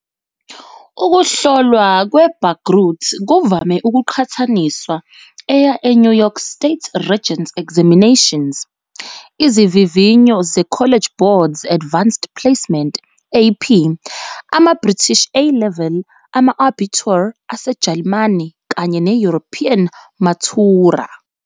Ukuhlolwa kweBagrut kuvame ukuqhathaniswa eya eNew York State Regents Examinations, izivivinyo ze-College Board 's Advanced Placement, AP, amaBritish A-level, ama-Abitur aseJalimane kanye ne-European Matura.